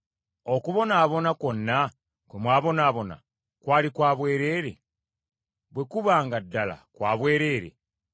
Okubonaabona kwonna kwe mwabonaabona kwali kwa bwereere? Bwe kuba nga ddala kwa bwereere.